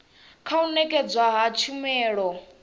kha u nekedzwa ha tshumelo